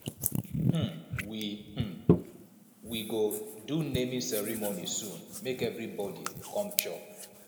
um we um we go do naming ceremony soon make everybodi come chop